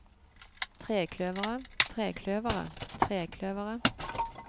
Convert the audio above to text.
trekløveret trekløveret trekløveret